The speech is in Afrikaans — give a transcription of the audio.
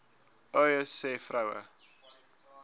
uys sê vroue